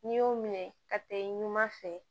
N'i y'u minɛ ka taa i ɲuman fɛ